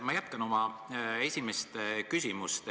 Ma jätkan oma esimest küsimust.